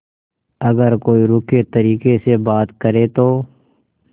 अगर कोई रूखे तरीके से बात करे तो